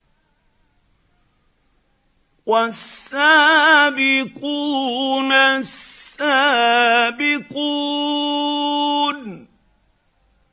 وَالسَّابِقُونَ السَّابِقُونَ